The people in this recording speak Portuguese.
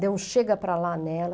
Deu um chega para lá nela.